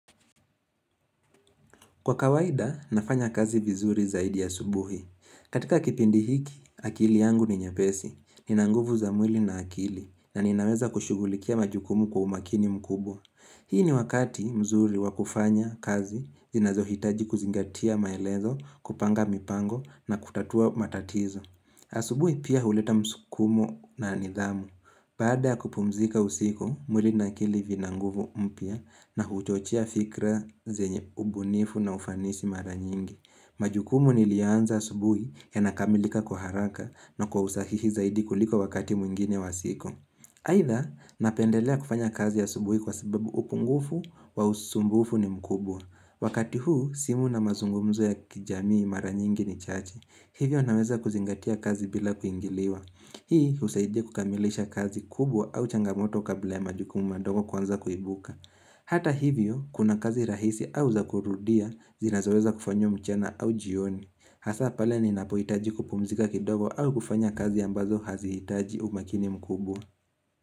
Kwa kawaida, nafanya kazi vizuri zaidi ya asubuhi. Katika kipindi hiki, akili yangu ni nyepesi, nina nguvu za mwili na akili, na ninaweza kushugulikia majukumu kwa umakini mkubwa. Hii ni wakati mzuri wa kufanya kazi, zinazohitaji kuzingatia maelezo, kupanga mipango na kutatua matatizo. Asubuhi pia huleta msukumo na nidhamu. Baada ya kupumzika usiku, mwili na akili vina nguvu mpya na huchochea fikra zenye ubunifu na ufanisi mara nyingi. Majukumu nilianza asubuhi yanakamilika kwa haraka na kwa usahihi zaidi kuliko wakati mwingine wa siku aitha, napendelea kufanya kazi asubuhi kwa sababu upungufu wa usumbufu ni mkubwa Wakati huu, simu na mazungumzo ya kijamii mara nyingi ni chache Hivyo naweza kuzingatia kazi bila kuingiliwa Hii, husaidia kukamilisha kazi kubwa au changamoto kabla ya majukumu madogo kuanza kuibuka Hata hivyo, kuna kazi rahisi au zakurudia zinazoweza kufanywa mchana au jioni Hasa pale ni napohitaji kupumzika kidogo au kufanya kazi ambazo hazihitaji umakini mkubwa.